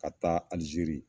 Ka taa Alizeri.